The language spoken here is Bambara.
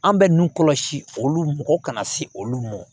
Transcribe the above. An bɛ nun kɔlɔsi olu mɔgɔ kana se olu ma